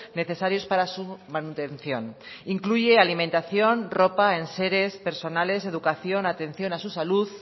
necesarios para su manutención incluye alimentación ropa enseres personales educación atención a su salud